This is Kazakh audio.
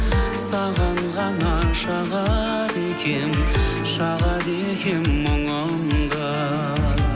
саған ғана шағады екенмін шағады екенмін мұңымды